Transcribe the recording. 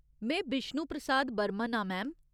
में बिष्णु प्रसाद बर्मन आं, मैम।